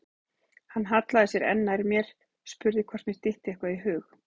Hann hallaði sér enn nær mér, spurði hvort mér dytti eitthvað í hug.